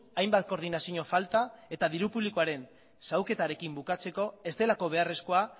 hainbat koordinazio falta eta diru publikoaren xahuketarekin bukatzeko ez delako beharrezkoa